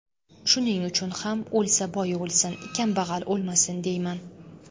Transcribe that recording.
Shuning uchun ham o‘lsa boy o‘lsin, kambag‘al o‘lmasin deyman.